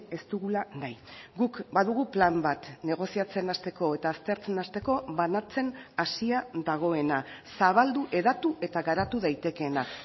ez dugula nahi guk badugu plan bat negoziatzen hasteko eta aztertzen hasteko banatzen hazia dagoena zabaldu hedatu eta garatu daitekeena